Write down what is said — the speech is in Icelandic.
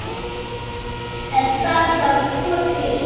En það þarf tvo til.